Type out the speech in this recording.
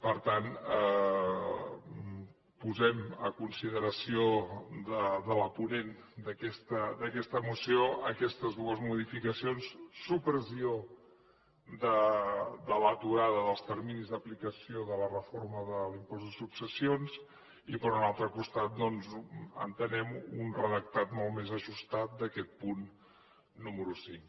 per tant posem a consideració de la ponent d’aquesta moció aquestes dues modificacions supressió de l’aturada dels terminis d’aplicació de la reforma de l’impost de successions i per un altre costat doncs entenem un redactat molt més ajustat d’aquest punt número cinc